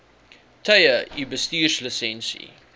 tye u bestuurslisensie